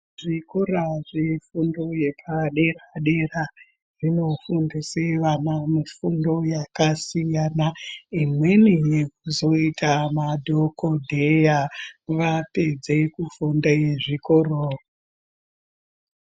Zvikora zvefundo yepadera dera zvinofundise vana mufundo yakasiyana imweni yekuzoita madhokodheya vapedze kufunde zvikoro.